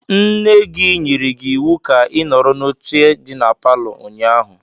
Nne gị nyere gị iwu ka ị nọrọ n'oche dị na palọ ụnyaahụ.